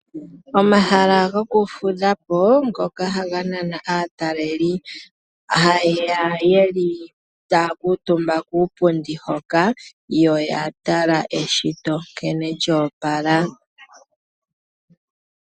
Omahala gokufudha po ngoka haga nana aatalelipo haye ya ye li taya kuutumba kuupundi hoka yo ya tala eshito nkene lyo opala.